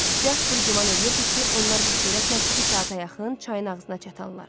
Jasper güman eləyirdi ki, onlar bu sürətlə iki saata yaxın çayın ağzına çatanlar.